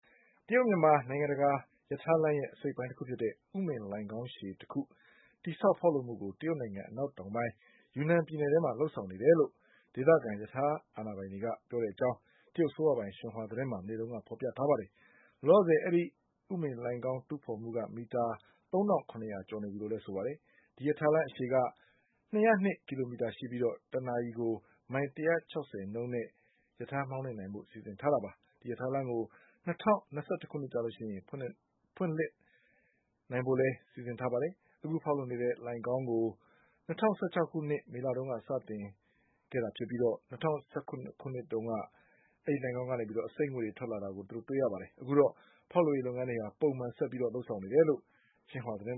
တရုတ် မြန်မာနိုင်ငံတကာ ရထားလမ်းရဲ့ အစိတ်အပိုင်းတခုဖြစ်တဲ့ ဥမင်လှိုဏ်ခေါင်းအရှည်တခု တည်ဆောက်ဖေါက်လုပ်မှုကို တရုတ်နိုင်ငံ အနောက်တောင်ပိုင်း ယူနန်ပြည်နယ်ထဲမှာလုပ်ဆောင်နေပြီလို့ ဒေသခံရထား အာဏာပိုင်တွေက ပြောတဲ့အကြောင်း တရုတ်အစိုးရပိုင်ရှင်ဟွာသတင်းမှာ မနေ့ဖေါ်ပြထားပါတယ်။ လောလောဆယ် အဲဒီ ဥမင်လှိုဏ်ခေါင်း တူးဖေါ်မှုက မီတာ ၃၇၀၀ ကျော် နေပြီလို့ဆိုပါတယ်။ ဒီရထားလမ်း အရှည်က၂၀၂ ကီလိုမီတာရှိပြီး တနာရီကို မိုင် ၁၆၀နှုန်းနဲ့ မောင်းနိုင်ဖို့ စီစဉ်ထားတာပါ။ ဒီရထားလမ်းကို ၂၀၂၁ ခုနှစ်မှာ စတင်ဖွင့်လှစ်နိုင်ဖို့လည်း စီစဉ်ထားပါတယ်။ အခုဖေါက်လုပ်နေတဲ့ လှိုဏ်ခေါင်းကို ၂၀၁၆ခုနှစ်မေလမှာ စတင်ဆောက်လုပ်ခဲ့တာဖြစ်ပြီး ၂၀၁၇ ခုနှစ်တုန်းကတော့ ဒီလှိုဏ်ခေါင်းကနေ အဆိပ်ငွေ့တွေ ထွက်လာတာခဲ့တဲ့အကြောင်း အခုတော့ ဖေါက်လုပ်ရေးလုပ်ငန်းတွေ ပုံမှန်ဆက်ပြီး လုပ်ဆောင်နေတယ်လို့ ရှင်ဟွာသတင်း